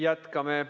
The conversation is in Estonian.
Jätkame.